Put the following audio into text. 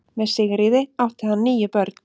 Með Sigríði átti hann níu börn.